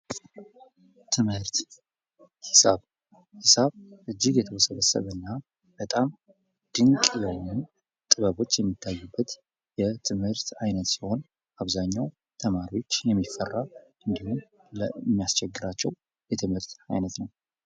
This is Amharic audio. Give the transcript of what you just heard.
ትምህርት ሂሳብ ሂሳብ እጅግ የተውሰበሰበ እና በጣም ድንቅ የሆነ ጥበቦች የሚታዩበት የትምህርት አይነት ሲሆን አብዛኛው ተማሪዎች የሚፈራ እንዲሁም የሚያስቸግራቸው የትምህርት አይነት ነው።